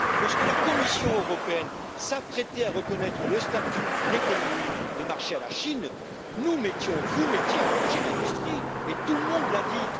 Lorsque la Commission européenne s'apprêtait à reconnaître le statut d'économie de marché à la Chine, nous mettions, vous mettiez en danger l'industrie et tout le monde l'a dit!